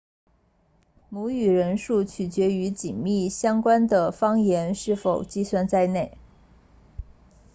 母语人数取决于紧密相关的方言是否计算在内